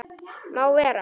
Má vera.